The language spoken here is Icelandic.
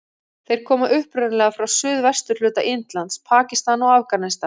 Þeir koma upprunalega frá suðvesturhluta Indlands, Pakistan og Afganistan.